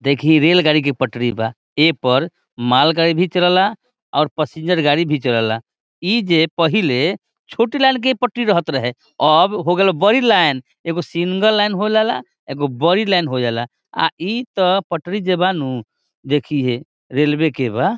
देखी रेलगाड़ी के पटरी बा ए पर मालगाड़ी भी चलेला और पैसेंजर गाड़ी भी चलेला इ जे पहिले छोटे लाल के पटरी रहेत रहे आब हो गले बड़ी लाइन एगो सिंगल लाइन होय जाइले एगो बड़ी लाइन होय जाइले आ इता पटरी जे बानू देखीहे रेलवे के बा।